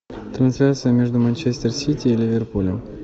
трансляция между манчестер сити и ливерпулем